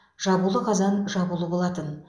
жабулы қазан жабулы болатын